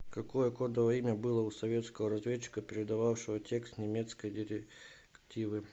какое кодовое имя было у советского разведчика передававшего текст немецкой директивы